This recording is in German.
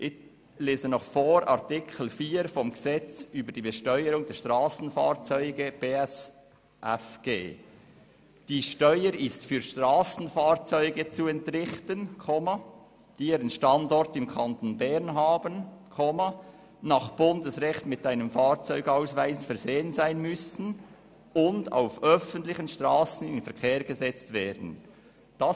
Artikel 4 des Gesetzes über die Besteuerung der Strassenfahrzeuge (BSFG) besagt: «Die Steuer ist für Strassenfahrzeuge zu entrichten, die ihren Standort im Kanton Bern haben, nach Bundesrecht mit einem Fahrzeugausweis versehen sein müssen und auf öffentlichen Strassen in Verkehr gesetzt werden.»